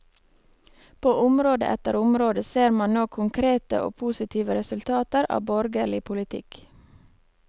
På område etter område ser man nå konkrete og positive resultater av borgerlig politikk.